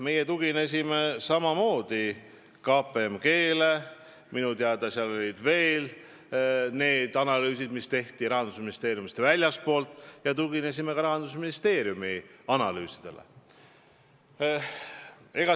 Meie tuginesime samamoodi KPMG-le ja minu teada olid teisedki analüüsid, mis tehti Rahandusministeeriumist väljaspool, ja muidugi tuginesime ka Rahandusministeeriumi analüüsidele.